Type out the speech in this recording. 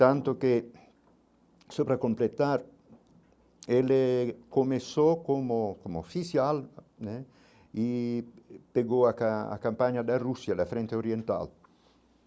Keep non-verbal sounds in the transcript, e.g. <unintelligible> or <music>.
Tanto que, só para completar, ele começou como como oficial né e pegou a <unintelligible> a campanha da Rússia, da frente oriental.